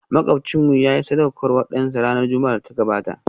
Makwabcinmu yayi sadaukarwar dansa ranar Juma'ar da ta gabata